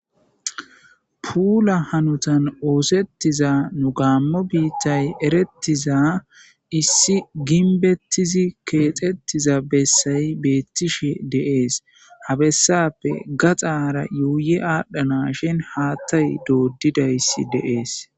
Puula hanotan oththetida nu gammo biittan eretiza issi ginbetidi kexxetiza bessay betishe de7es ha bessappe gaxxara yuyi adhdhanashin haththay doddidayssi de7ese